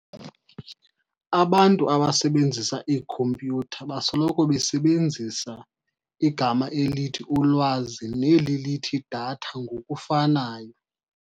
abantu abasebenzisa iikhompyutha basoloko besebenzisa igama elithi ulwazi neli lithi data ngokufanayo.